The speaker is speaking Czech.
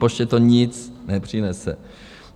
Poště to nic nepřinese.